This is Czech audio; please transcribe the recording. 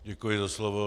Děkuji za slovo.